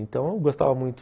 Então eu gostava muito.